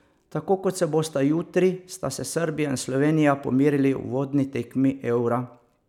Tako kot se bosta jutri, sta se Srbija in Slovenija pomerili v uvodni tekmi eura.